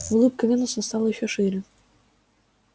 улыбка венуса стала ещё шире